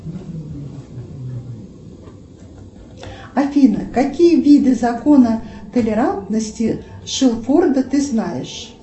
афина какие виды закона толерантности шелфорда ты знаешь